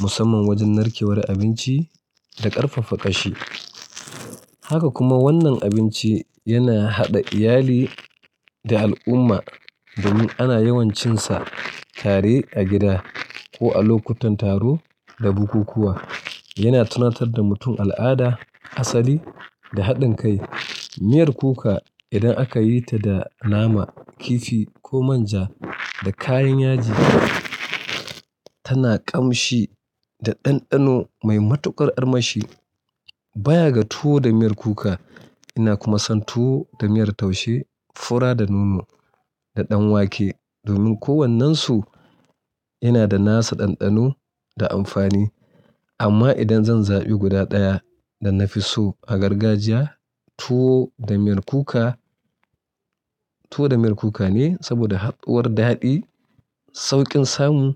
Musamman wajen narkewar abinci da ƙarfafa ƙashi. Haka kuma wannan abinci yana haɗa iyali da al'umma domin ana yawancinsa tare a gida ko a lokutan taro da bukukuwa. Yana tunatar da mutum al'ada, asali da haɗin kai. Miyar kuka, idan aka yi ta da nama, kifi ko manja da kayan yaji tana ƙamshi da ɗanɗano mai matuƙar armashi. Baya ga tuwo da miyar kuka, ina kuma son tuwo da miyar taushe, fura da nono da ɗan wake domin kowannensu yana da nasa ɗanɗano da amfani. Amma idan zan zabi guda ɗaya da na fi so a gargajiya, tuwo da miyar kuka, tuwo da miyar kuka ne saboda haɗuwar daɗi, sauƙin samu